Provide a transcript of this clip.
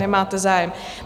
Nemáte zájem.